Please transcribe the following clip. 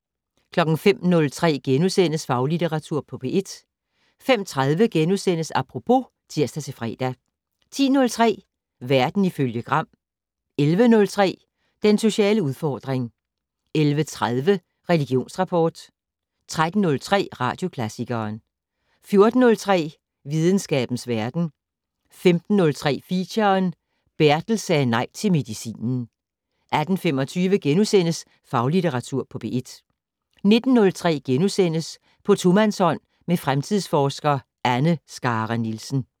05:03: Faglitteratur på P1 * 05:30: Apropos *(tir-fre) 10:03: Verden ifølge Gram 11:03: Den sociale udfordring 11:30: Religionsrapport 13:03: Radioklassikeren 14:03: Videnskabens verden 15:03: Feature: Bertel sagde nej til medicinen 18:25: Faglitteratur på P1 * 19:03: På tomandshånd med fremtidsforsker Anne Skare Nielsen. *